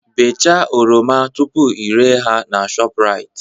Bechaa oroma tupu ị re ha na Shoprite